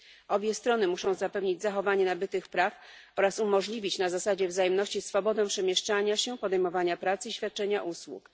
Obie strony muszą zapewnić zachowanie nabytych praw oraz umożliwić na zasadzie wzajemności swobodę przemieszczania się, podejmowania pracy i świadczenia usług.